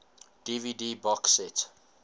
dvd box set